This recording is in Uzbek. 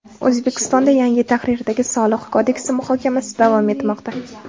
O‘zbekistonda yangi tahrirdagi Soliq kodeksi muhokamasi davom etmoqda.